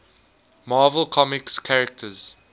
marvel comics characters